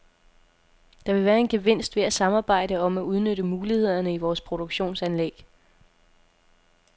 Der vil være en gevinst ved at samarbejde om at udnytte mulighederne i vores produktionsanlæg.